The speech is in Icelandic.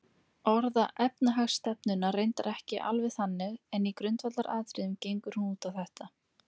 Orða efnahagsstefnuna reyndar ekki alveg þannig en í grundvallaratriðum gengur hún út á þetta.